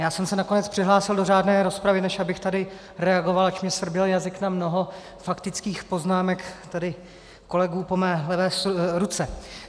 Já jsem se nakonec přihlásil do řádné rozpravy, než abych tady reagoval, ač mě svrběl jazyk na mnoho faktických poznámek tady kolegů po mé levé ruce.